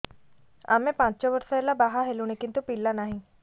ଆମେ ପାଞ୍ଚ ବର୍ଷ ହେଲା ବାହା ହେଲୁଣି କିନ୍ତୁ ପିଲା ନାହିଁ